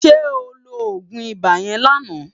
Sè óló ógún ibá yèn láná